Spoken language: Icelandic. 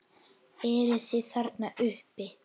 Eruð þið þarna uppi!